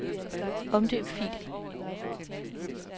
Omdøb fil.